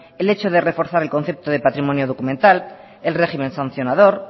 el hecho de reforzar el concepto de patrimonio documental el régimen sancionador